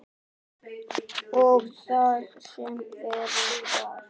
Og það sem verra var.